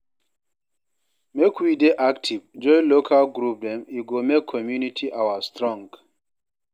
Make we dey active, join local group dem, e go make community our strong